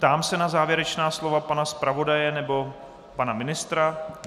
Ptám se na závěrečná slova pana zpravodaje nebo pana ministra.